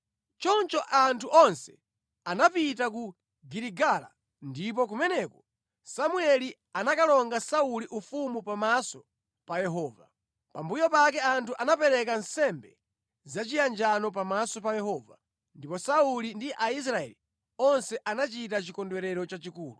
Choncho anthu onse anapita ku Giligala ndipo kumeneko Samueli anakalonga Sauli ufumu pamaso pa Yehova. Pambuyo pake anthu anapereka nsembe zachiyanjano pamaso pa Yehova, ndipo Sauli ndi Aisraeli onse anachita chikondwerero chachikulu.